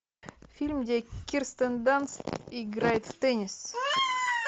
фильм где кирстен данст играет в теннис